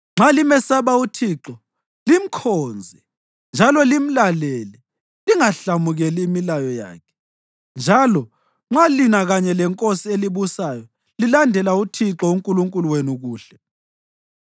Nxa limesaba uThixo limkhonze njalo limlalele lingahlamukeli imilayo yakhe, njalo nxa lina kanye lenkosi elibusayo lilandela uThixo uNkulunkulu wenu, kuhle!